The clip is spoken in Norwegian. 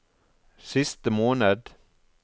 siste måned